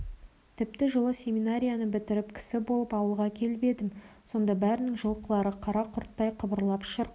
тіпті жылы семинарияны бітіріп кісі болып ауылға келіп едім сонда бәрінің жылқылары қара құрттай қыбырлап шырқ